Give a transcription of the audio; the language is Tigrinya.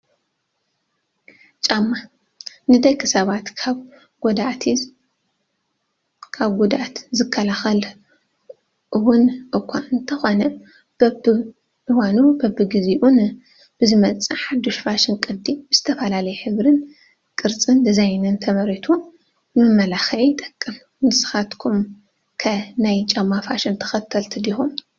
ጫማ፡- ንደቂ ሰባት ካብ ጉድኣት ዝከላኸል እውን እኳ እንተኾነ በበእኑን በቢጊዜኡን ብዝመፅእ ሓዱሽ ፋሽን ቅዲ ብዝተፈላለየ ሕብሪ፣ ቅርፂን ዲዛይንን ተመሪቱ ንመመላኽዒ ይጠቅም ፡፡ ንስኻትኩ ከ ናይ ጫማ ፋሽን ተኸልቲ ዲኹም?